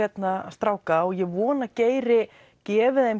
stráka og ég vona að Geiri gefi þeim